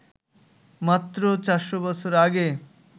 মাত্র ৪০০ বছর আগে